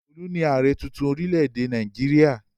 Olu ni ààrẹ̀ tuntun orílẹ̀-èdè Nàìjíríà.